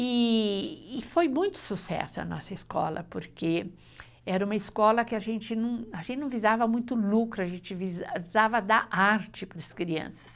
Eeee foi muito sucesso a nossa escola, porque era uma escola que a gente não visava muito lucro, a gente visava dar arte para as crianças.